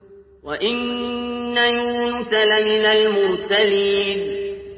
وَإِنَّ يُونُسَ لَمِنَ الْمُرْسَلِينَ